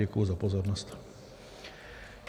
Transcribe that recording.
Děkuji za pozornost.